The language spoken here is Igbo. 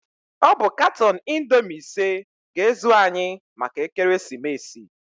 Ọ bụ katọn Indoomi ise ga-ezu anyị maka ekeresimeesi.